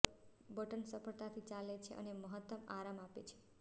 button સરળતાથી ચાલે છે અને મહત્તમ આરામ આપે છે